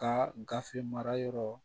Ka gafe mara yɔrɔ